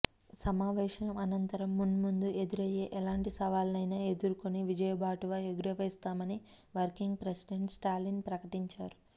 సమావేశం అనంతరం మున్మందు ఎదురయ్యే ఎలాంటి సవాళ్లనైనా ఎదుర్కొని విజయబావుటా ఎగురవేస్తామని వర్కింగ్ ప్రెసిడెంట్ స్టాలిన్ ప్రకటించారు